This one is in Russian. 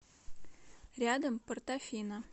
рядом портофино